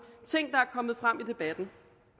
ting er kommet frem i debatten